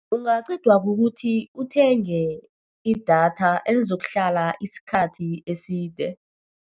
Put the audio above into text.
Ungaqedwa kukuthi uthenge idatha elizokuhlala isikhathi eside.